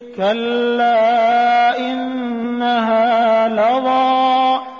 كَلَّا ۖ إِنَّهَا لَظَىٰ